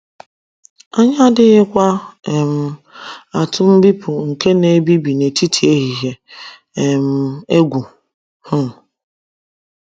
Anyị adịghịkwa um atụ “ mbipụ nke na - ebibi n’etiti ehihie um ” egwu um.